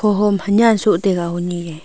hohom honyean soh taiga honi e.